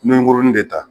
N bɛ kurun de ta